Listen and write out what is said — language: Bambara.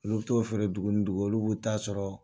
Ola u bɛ t'u feere dugu ni dugu olu b'u ta sɔrɔ